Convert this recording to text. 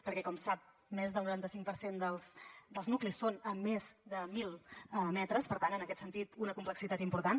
perquè com sap més del noranta cinc per cent dels nuclis són a més de mil metres per tant en aquest sentit una complexitat important